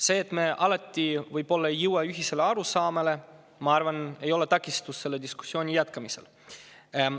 See, et me alati võib‑olla ei jõua ühisele arusaamale, ei ole minu arvates takistus selle diskussiooni jätkamisel.